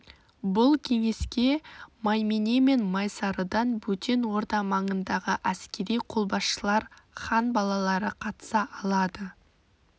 бұл кеңеске маймене мен майсарыдан бөтен орда маңындағы әскери қолбасшылар хан балалары қатынаса алады